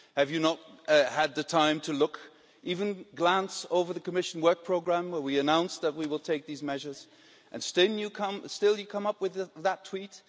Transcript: Have you not had the time to look even glance over the Commission Work Programme, where we announced that we will take these measures, and still you come up with that tweet?